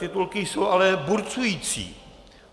Titulky jsou ale burcující.